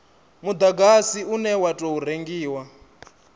mudagasi une wa tou rengiwa